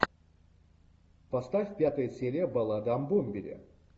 поставь пятая серия баллада о бомбере